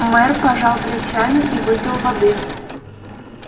мэр пожал плечами и выпил воды